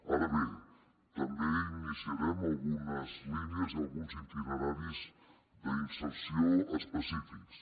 ara bé també iniciarem algunes línies i alguns itineraris d’inserció específics